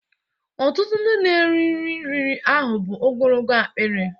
Ọtụtụ ndị na-eri nri riri ahụ bụ ogologo akpịrị